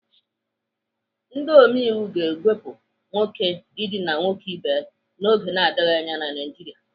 Ndị omeiwu ga-ewepụ nwoke idina nwoke ibe ya n'oge na-adịghị anya na Naijiria.